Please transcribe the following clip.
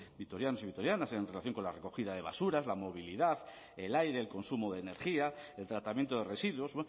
vitorianos y vitorianas en relación con la recogida de basuras la movilidad el aire el consumo de energía el tratamiento de residuos